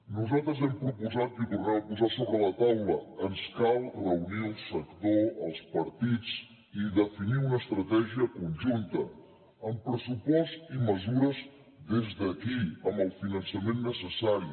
nosaltres ho hem proposat i ho tornem a posar sobre la taula ens cal reunir el sector els partits i definir una estratègia conjunta amb pressupost i mesures des d’aquí amb el finançament necessari